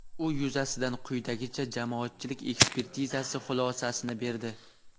u yuzasidan quyidagicha Jamoatchilik ekspertizasi xulosasini berdi.